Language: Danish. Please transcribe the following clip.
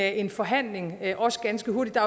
en forhandling om det også ganske hurtigt der